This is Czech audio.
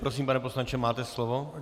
Prosím, pane poslanče, máte slovo.